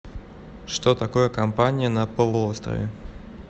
что такое кампания на полуострове